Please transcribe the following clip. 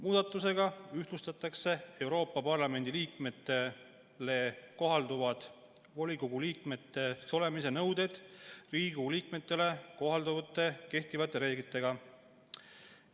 Muudatustega ühtlustatakse Euroopa Parlamendi liikmetele kohalduvaid volikogu liikmeks olemise nõudeid Riigikogu liikmetele kohalduvate kehtivate reeglitega.